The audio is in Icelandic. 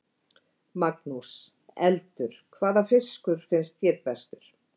Magnús: Eldur, hvaða fiskur finnst þér bestur?